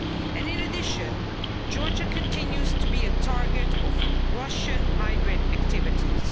And in addition, Georgia continues to be a target of Russian hybrid activities.